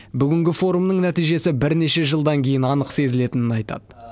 бүгінгі форумның нәтижесі бірнеше жылдан кейін анық сезілетінін айтады